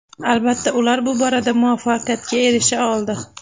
Albatta, ular bu borada muvaffaqiyatga erisha oldi.